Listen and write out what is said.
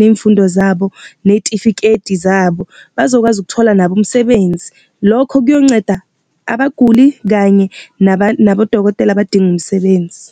ney'mfundo zabo, ney'tifiketi zabo, bazokwazi ukuthola nabo umsebenzi. Lokho kuyonceda abaguli kanye nabodokotela abadinga umsebenzi.